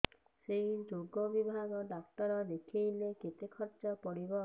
ସେଇ ରୋଗ ବିଭାଗ ଡ଼ାକ୍ତର ଦେଖେଇଲେ କେତେ ଖର୍ଚ୍ଚ ପଡିବ